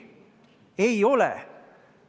Ei ole!